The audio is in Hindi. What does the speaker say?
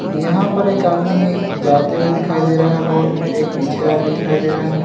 यहां पर एक आदमी जाते हुए दिखाई दे रहा है बोट में एक पीछे आदमी दिखाई दे रहा है।